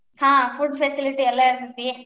ಹಾ food facility ಎಲ್ಲಾ ಇರ್ತೇತಿ.